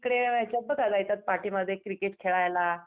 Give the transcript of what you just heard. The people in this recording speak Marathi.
इकडे पाठीमागे क्रिकेट खेळायला.